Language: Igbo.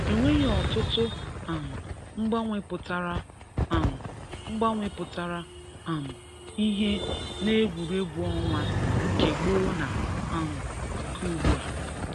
E nwere ọtụtụ um mgbanwe pụtara um mgbanwe pụtara um ihe n’egwuregwu ọnwa nke gboo na um nke ugbua